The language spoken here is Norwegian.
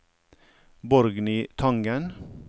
Borgny Tangen